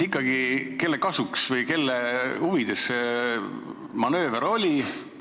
Ikkagi, kelle kasuks või kelle huvides see manööver oli?